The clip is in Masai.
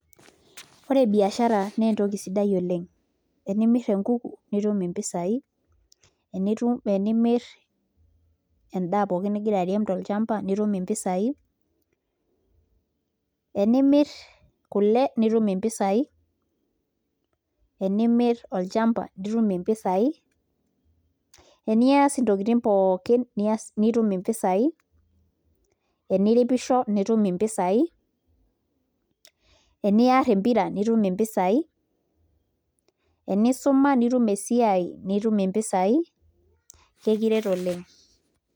Ore biashara naa entoki sidai oleng' enimirr enkuku nitum mpisaai enimirr endaa pookin nigira airem tolchamba nitum mpisaai enimirr kule nitum mpisaai enimirr olchamba nitum mpisaai eniaas ntokitin pookin nitum mpisaai eniripisho nitum mpisaai eniaar empira nitum mpisaai enisuma nitum esiai nitum mpisaai kakiret oleng'.